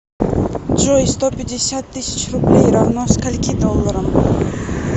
джой сто пятьдесят тысяч рублей равно скольки долларам